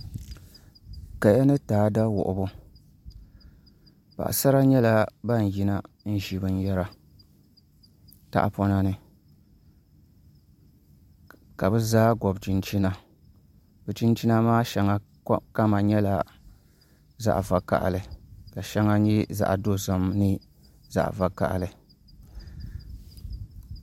Kaya ni taada wuhubi paɣasara nyɛla ban yina n ʒi binyɛra tahapona ni ka bi zaa gobi chinchina chinchina maa shɛŋa kama nyɛla zaɣ vakaɣali ka shɛŋa nyɛ zaɣ dozim ni zaɣ vakaɣali